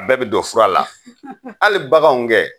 A bɛɛ bi don fura la. Hali baganw kɛ .